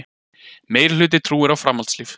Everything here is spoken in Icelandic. Meirihluti trúir á framhaldslíf